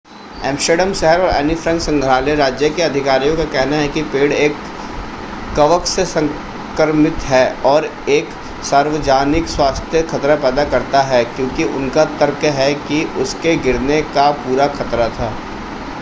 Amsterdam शहर और Anne Frank संग्रहालय राज्य के अधिकारियों का कहना है कि पेड़ एक कवक से संक्रमित है और एक सार्वजनिक स्वास्थ्य खतरा पैदा करता है क्योंकि उनका तर्क है कि उसके गिरने का पूरा खतरा था